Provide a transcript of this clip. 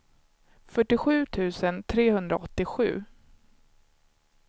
fyrtiosju tusen trehundraåttiosju